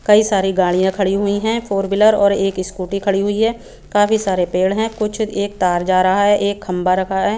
कई सारी गाड़िया खड़ी हुई है फॉर विलर और एक स्कूटी खड़ी हुई है काफी सारे पेड़ है कुछ एक तार जा रहा है एक खम्बा रखा है।